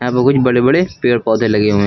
और कुछ बड़े बड़े पेड़ पौधे लगे हुए हैं।